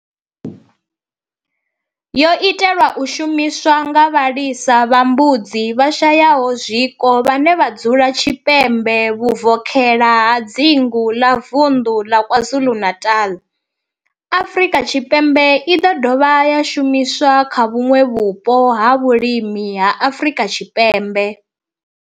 yo itelwa u shumiswa nga vhalisa vha mbudzi vhashayaho zwiko vhane vha dzula tshipembe vhuvokhela ha dzingu la Vundu la KwaZulu-Natal, Afrika Tshipembe i do dovha ya shumiswa kha vhuṋwe vhupo ha vhulimi ha Afrika Tshipembe.